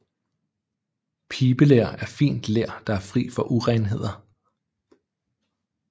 Pibeler er fint ler der er fri for urenheder